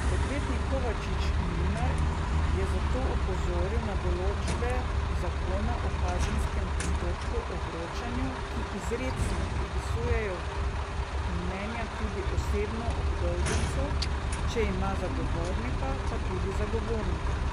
Odvetnik Kovačič Mlinar je zato opozoril na določbe zakona o kazenskem postopku o vročanju, ki izrecno predpisujejo vročitev mnenja tudi osebno obdolžencu, če ima zagovornika, pa tudi zagovorniku.